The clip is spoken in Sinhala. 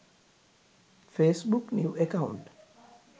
facebook new account